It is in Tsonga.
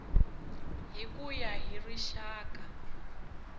hi ku ya hi rixaka